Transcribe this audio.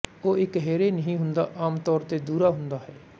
ਉਹ ਇਕਹਿਰੇ ਨਹੀਂ ਹੁੰਦਾ ਆਮ ਤੌਰ ਤੇ ਦੁਹਰਾ ਹੁੰਦਾ ਹੈ